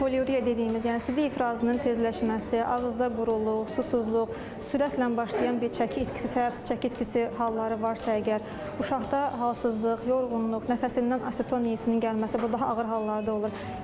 Poliuriya dediyimiz, yəni sidik ifrazının tezləşməsi, ağızda quruluq, susuzluq, sürətlə başlayan bir çəki itkisi, səbəbsiz çəki itkisi halları varsa əgər, uşaqda halsızlıq, yorğunluq, nəfəsindən aseton yeyisinin gəlməsi, bu daha ağır hallarda olur.